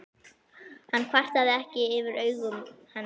Hann kvartaði ekki yfir augum hennar.